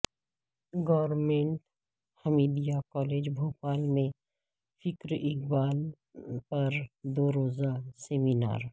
government Hamidia college Bhopal میں فکر اقبال پر دو روزہ سمینار